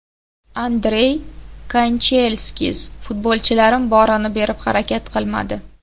Andrey Kanchelskis: Futbolchilarim borini berib harakat qilmadi !